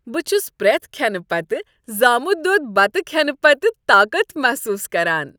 بہٕ چھس پرٛٮ۪تھ كھینہٕ پتہٕ زامت دۄد بتہٕ کھینہٕ پتہٕ طاقت محسوس کران۔